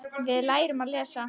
Við lærum að lesa.